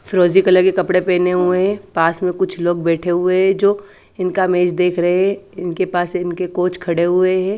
फिरोजी कलर के कपड़े पहने हुए हैं पास में कुछ लोग बैठे हुए जो इनका मैच देख रहे हैं इनके पास इनके कोच खड़े हुए हैं।